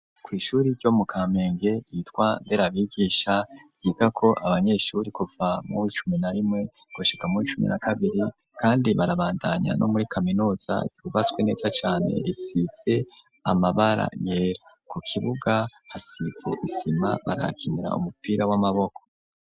Kw'ishure ryo mu kamenge yitwa nderabigisha yiga ko abanyeshure kuva mu icumi na rimwe gushika muw'icumi na kabiri kandi barabandanya no muri kaminuza yubatswe neza cane risize amabara yera ku kibuga hasitse isima barakinira umupira w'amaboko.